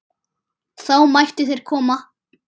Þá mættu þeir koma.